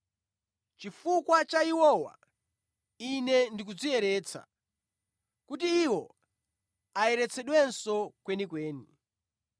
Chifukwa cha iwowa Ine ndikudziyeretsa, kuti iwo ayeretsedwenso kwenikweni.